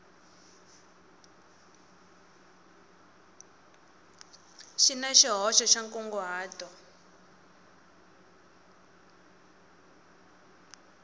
xi na xihoxo xa nkunguhato